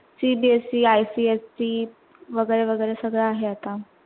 CBSEICSE वैगेरे वैगेरे सगळ आहे आत्ता